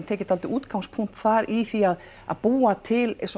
tekið dálítið útgangspunkt þar í því að búa til